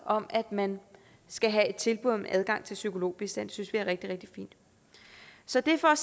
om at man skal have et tilbud om adgang til psykologbistand det synes vi er rigtig rigtig fint så det er for at